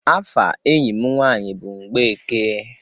Afa enyi m nwanyi bụ Mgbeke.